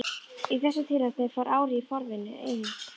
Í þessu tilfelli fór árið í forvinnuna eina.